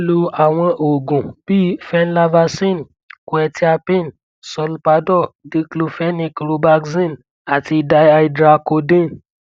lo àwọn oògùn bíi venlafaxine quetiapine solpadol diclofenic robaxin àti dihydracodeine